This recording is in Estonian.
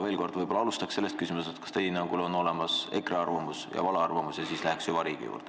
Veel kord, võib-olla alustaks sellest küsimusest, kas teie hinnangul on olemas EKRE arvamus ja vale arvamus, ning siis läheks süvariigi juurde.